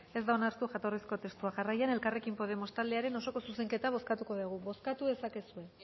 ez da onartu jatorrizko testua jarraian elkarrekin podemos taldearen osoko zuzenketa bozkatuko dugu bozkatu dezakezue